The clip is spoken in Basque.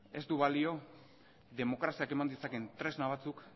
ez du balio demokraziak eman ditzaken tresna batzuk